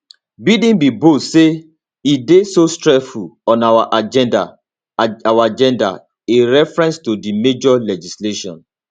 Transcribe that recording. biden bin boast say e dey so successful on our agenda our agenda a reference to di major legislation